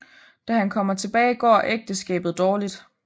Da han kommer tilbage går ægteskabet dårligt